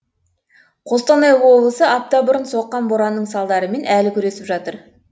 қостанай облысы апта бұрын соққан боранның салдарымен әлі күресіп жатыр